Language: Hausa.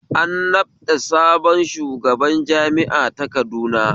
An naɓɗa sabon shugaban jami'a ta Kaduna